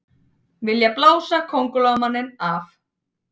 Vilja blása Kóngulóarmanninn af